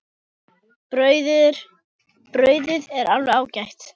Brauðið er alveg ágætt.